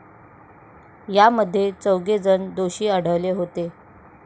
यामध्ये चौघे जण दोषी आढळले होते.